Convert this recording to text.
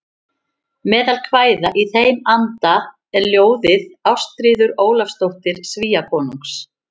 Meðal kvæða í þeim anda er ljóðið Ástríður Ólafsdóttir Svíakonungs